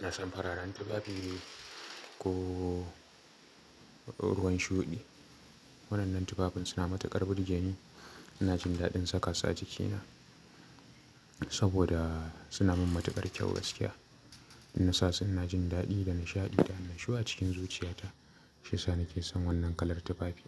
Na san fararen tufafi ko ruwan shuɗi. Waɗannan tufafin suna matuƙar burge ni. Ina jin daɗin saka su a jikina saboda suna min matuƙar kyau gaskiya. Inna sa su ina jin daɗi da nishaɗi da annashuwa acikin zuciyata. Shiyasa nake son wannan kalar tufafi.